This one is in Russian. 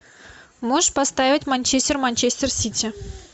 можешь поставить манчестер манчестер сити